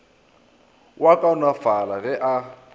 o a kaonafala ge a